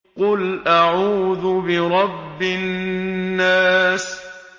قُلْ أَعُوذُ بِرَبِّ النَّاسِ